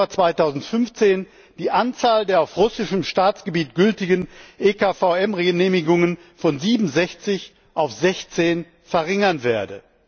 1. Januar 2015 die Anzahl der auf russischem Staatsgebiet gültigen EKVM Genehmigungen von 67 auf 16 verringern werde.